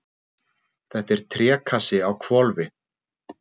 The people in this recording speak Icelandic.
Þetta er trékassi á hvolfi.